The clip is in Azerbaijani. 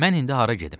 Mən indi hara gedim?